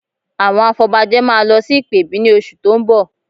Àwọn afọbajẹ máa lọ sí ìpèbí ní oṣù tó ń bọ̀